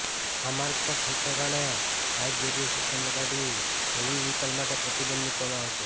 આ માર્ગ પર ઠેકઠેકાણે હાઇટ બેરિયર સિસ્ટમ લગાડી હેવી વેહિકલ માટે પ્રતિબંધ મૂકવામાં આવશે